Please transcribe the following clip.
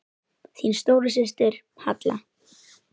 Þín stóra systir, Halla.